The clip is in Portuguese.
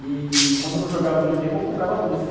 E quando eu não jogava videogame, eu comprava doce.